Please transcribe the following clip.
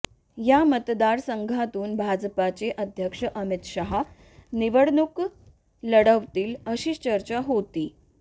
या मतदारसंघातून भाजपचे अध्यक्ष अमित शहा निवडणूक लढवतील अशी चर्चा होती